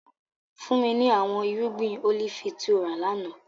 Fun mi ni awọn irugbin olifi ti o ra lana!